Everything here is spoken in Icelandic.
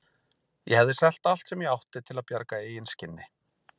Ég hefði selt allt sem ég átti til að bjarga eigin skinni.